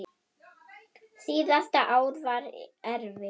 Síðasta ár var erfitt.